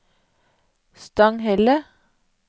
Stanghelle